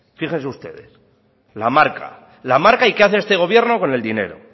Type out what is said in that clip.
fíjense ustedes la marca y qué hace este gobierno con el dinero